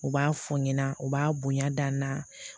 U b'a fɔ ɲɛna u b'a bonya da n na